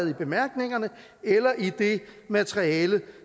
i bemærkningerne eller i det materiale